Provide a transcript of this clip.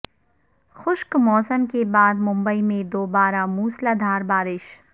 خشک موسم کے بعد ممبئی میں دوبارہ موسلادھار بارش